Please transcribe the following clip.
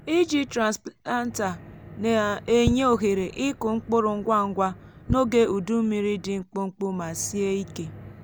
iji transplanter na-enye ohere ịkụ mkpụrụ ngwa ngwa n’oge udu mmiri dị mkpụmkpụ ma sie ike.